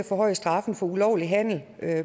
at